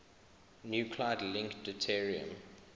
nuclide link deuterium